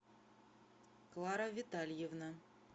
клара витальевна